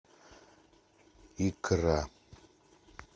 икра